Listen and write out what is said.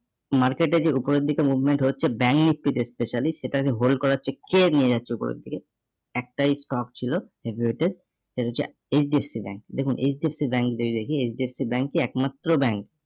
market এ যে উপরের দিকে movement হচ্ছে bank speed specially সেটাকে hold করাচ্ছে কে নিয়ে যাচ্ছে উপরের দিকে? একটাই stock ছিল সেটা হচ্ছে HDFC bank দেখুন HDFC bank যদি দেখি HDFC bank টি একমাত্র bank